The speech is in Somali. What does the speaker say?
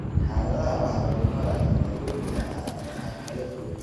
Xaaladda waxaa lagu maareeyaa daaweynta calaamadaha kala duwan.